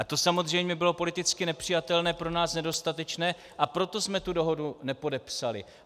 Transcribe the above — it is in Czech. A to samozřejmě bylo politicky nepřijatelné, pro nás nedostatečné, a proto jsme tu dohodu nepodepsali.